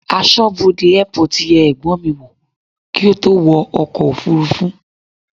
Aṣọ́bodè airport yẹ ẹ̀gbọ́n mi wò kí ó tó wo ọkọ̀ òfúrúfú.